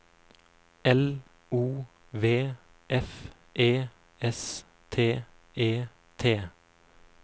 L O V F E S T E T